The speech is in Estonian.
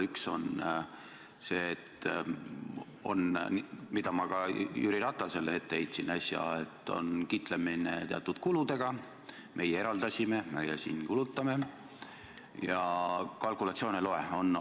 Üks on see, mida ma ka Jüri Ratasele äsja ette heitsin, nimelt kiitlemine teatud kuludega – meie eraldasime, meie siin kulutame – ja kalkulatsioon ei loe.